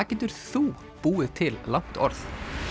getur þú búið til langt orð